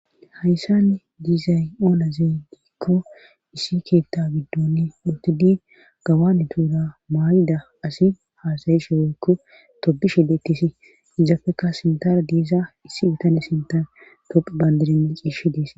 hayssan diizay oonazey diikko issi keetta giddoni utudi gawani tuura maayida asi haasayishowoykko tobi shidetisi izafeka sintara diiza issi bitane sintar tophi bandirene ciishi dis